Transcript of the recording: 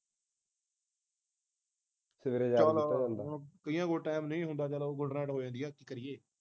ਚਁਲ ਹੋਣ ਕਈਆਂ ਕੋਲ ਟਾਈਮ ਨਹੀਂ ਹੁੰਦਾ ਉਹ ਗੁਡ ਨਾਈਟ ਹੋ ਜਾਂਦੀ ਐ ਕੀ ਕਰੀਏ